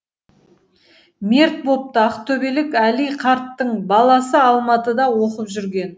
мерт бопты ақтөбелік әли қарттың баласы алматыда оқып жүрген